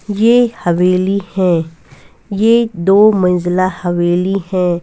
ये हवेली है ये दो मंझला हवेली है।